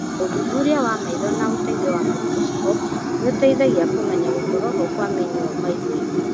ũthuthuria wa maitho na ũteithio wa microscope nĩũteithagia kũmenya gũkorwo ho kwa mĩnyoo maitho-inĩ